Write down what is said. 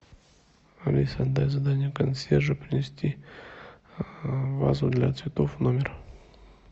алиса дай задание консьержу принести вазу для цветов в номер